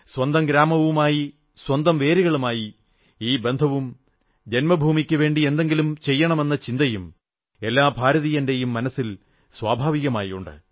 സ്വന്തം ഗ്രാമവുമായി സ്വന്തം വേരുകളുമായി ഈ ബന്ധവും ജന്മഭൂമിയ്ക്കുവേണ്ടി എന്തെങ്കിലും ചെയ്യണമെന്ന ചിന്തയും എല്ലാ ഭാരതീയന്റെയും മനസ്സിൽ സ്വാഭാവികമായി ഉണ്ട്